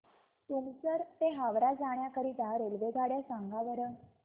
तुमसर ते हावरा जाण्या करीता रेल्वेगाड्या सांगा बरं